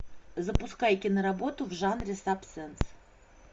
запускай киноработу в жанре саспенс